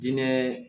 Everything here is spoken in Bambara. Diinɛ